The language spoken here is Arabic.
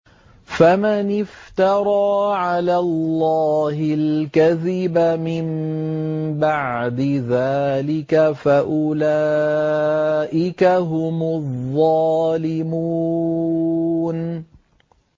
فَمَنِ افْتَرَىٰ عَلَى اللَّهِ الْكَذِبَ مِن بَعْدِ ذَٰلِكَ فَأُولَٰئِكَ هُمُ الظَّالِمُونَ